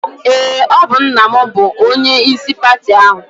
Eé, ọ bụ nna m bụ onyeisi pati ahụ.